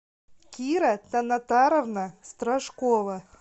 кира танатаровна страшкова